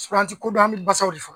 an ti ko don an bɛ basaw de